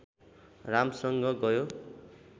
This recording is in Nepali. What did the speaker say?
रामसँग गयो